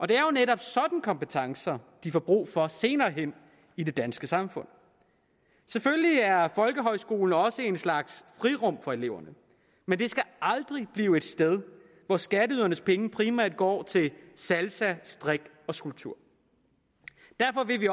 det er jo netop sådanne kompetencer de får brug for senere hen i det danske samfund selvfølgelig er folkehøjskolen også en slags frirum for eleverne men det skal aldrig blive et sted hvor skatteydernes penge primært går til salsa strik og skulptur derfor vil vi